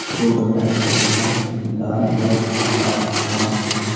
दो प्रकार की सब्जियां दाल व आचार रखा हुआ हैं।